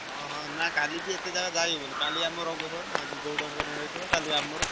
ହଁ ହଁ ନା କାଲି ବି ଏତେ ଜାଗା ଯାଇହବନି କାଲି ଆମର ରଙ୍ଗ ଖେଳ ନା ଆଜି ଗଉଡଙ୍କର ରଙ୍ଗ ଖେଳ କାଲି ଆମର।